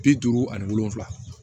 Bi duuru ani wolonwula